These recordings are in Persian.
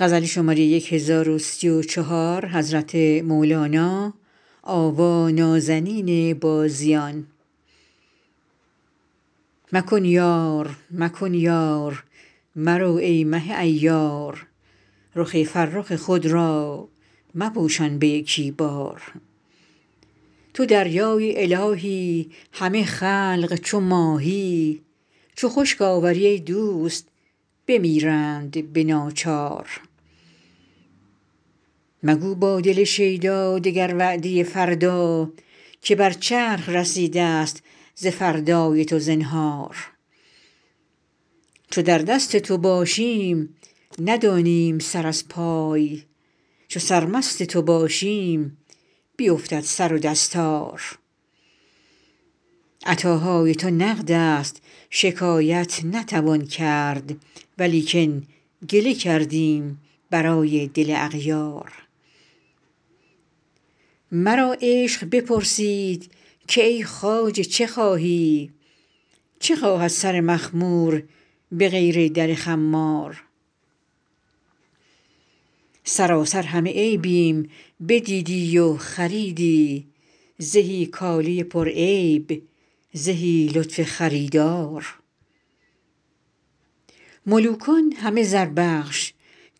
مکن یار مکن یار مرو ای مه عیار رخ فرخ خود را مپوشان به یکی بار تو دریای الهی همه خلق چو ماهی چو خشک آوری ای دوست بمیرند به ناچار مگو با دل شیدا دگر وعده فردا که بر چرخ رسیدست ز فردای تو زنهار چو در دست تو باشیم ندانیم سر از پای چو سرمست تو باشیم بیفتد سر و دستار عطاهای تو نقدست شکایت نتوان کرد ولیکن گله کردیم برای دل اغیار مرا عشق بپرسید که ای خواجه چه خواهی چه خواهد سر مخمور به غیر در خمار سراسر همه عیبیم بدیدی و خریدی زهی کاله پرعیب زهی لطف خریدار ملوکان همه زربخش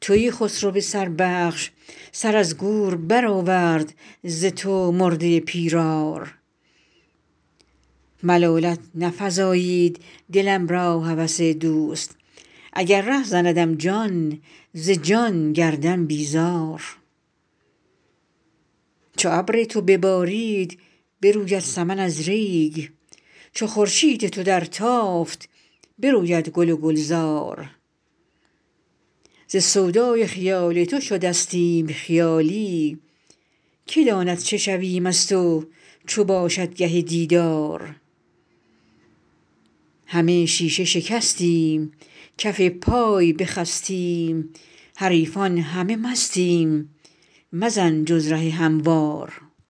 تویی خسرو سربخش سر از گور برآورد ز تو مرده پیرار ملالت نفزایید دلم را هوس دوست اگر ره زندم جان ز جان گردم بیزار چو ابر تو ببارید بروید سمن از ریگ چو خورشید تو درتافت بروید گل و گلزار ز سودای خیال تو شدستیم خیالی کی داند چه شویم از تو چو باشد گه دیدار همه شیشه شکستیم کف پای بخستیم حریفان همه مستیم مزن جز ره هموار